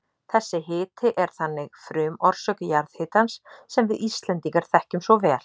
Þessi hiti er þannig frumorsök jarðhitans sem við Íslendingar þekkjum svo vel.